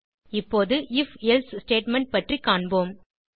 இப்போது if else statement பற்றி காண்போம்